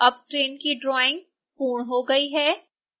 अब ट्रेन की ड्रॉइंग पूर्ण हो गई है